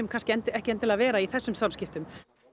kannski endilega vera í þessum samskiptum